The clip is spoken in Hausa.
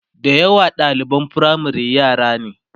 da yawa ɗaliban firamare yara ne